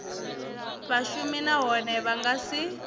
vhashumi nahone vha nga si